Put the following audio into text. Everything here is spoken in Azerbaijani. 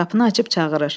Qapını açıb çağırır.